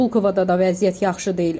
Pulkovada da vəziyyət yaxşı deyil.